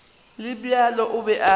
le bjalo o be a